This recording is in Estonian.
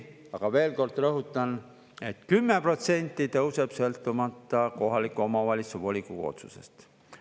Aga veel kord rõhutan, et 10% tõuseb, sõltumata kohaliku omavalitsuse volikogu otsusest.